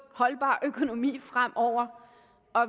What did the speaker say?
holdbar økonomi fremover